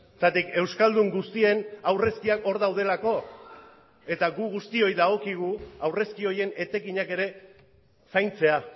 zergatik euskaldun guztien aurrezkiak hor daudelako eta gu guztioi dagokigu aurrezki horien etekinak ere zaintzea